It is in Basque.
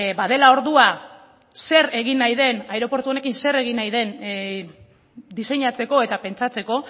badela ordua zer egin nahi den aireportu honekin zer egin nahi den diseinatzeko eta pentsatzeko